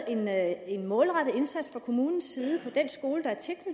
ind med en målrettet indsats fra kommunens side på den skole der